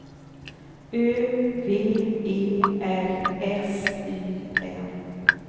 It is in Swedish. Ö V E R S Y N